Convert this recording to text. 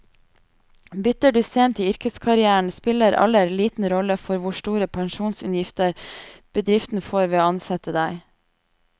Bytter du sent i yrkeskarrieren, spiller alder liten rolle for hvor store pensjonsutgifter bedriften får ved å ansette deg.